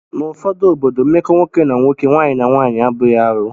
N'ụfọdụ obodo, mmekọ nwoke na nwoke, nwaanyị na nwaanyị abụghị arụ